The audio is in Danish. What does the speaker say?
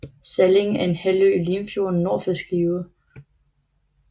Salling er en halvø i Limfjorden nord for Skive